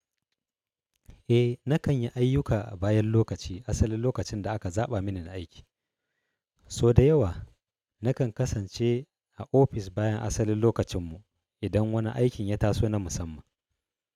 Eh, na kan yi ayyuka a bayan lokaci asalin lokacin da aka zaɓa mini na aiki. So da yawa na kan kasance a ofis bayan asalin lokacinmu idan wani aikin ya taso na musamman.